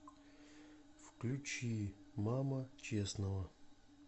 включи мама честного